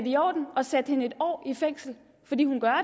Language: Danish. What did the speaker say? i orden at sætte hende en år i fængsel fordi hun gør